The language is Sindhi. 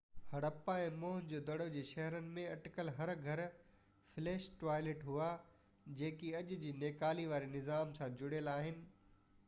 هڙاپا ۽ موئن جو دڙو جي شهرن ۾ اٽڪل هر گهر فلش ٽوائلٽ هئا جيڪي اڄ جي نيڪالي واري نظام سان جڙيل آهن